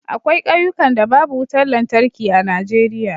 akwai kauyukan da babu wutar lantarki a Najeriya